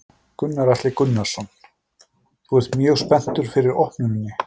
Gunnar Atli Gunnarsson: Þú ert mjög spenntur fyrir opnuninni?